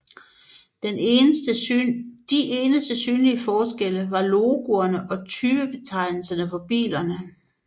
De eneste synlige forskelle var logoerne og typebetegnelserne på bilerne